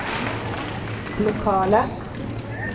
lokala